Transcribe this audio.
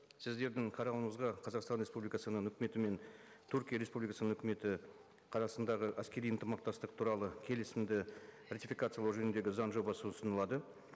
сіздердің қарауыңызға қазақстан республикасының үкіметі мен түркия республикасының үкіметі арасындағы әскери ынтымақтастық туралы келісімді ратификациялау жөніндегі заң жобасы ұсынылады